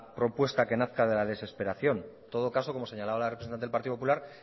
propuesta que nazca de la desesperación en todo caso como señalaba la representante del partido popular